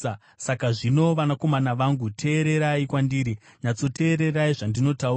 Saka zvino, vanakomana vangu, teererai kwandiri; nyatsoteererai zvandinotaura.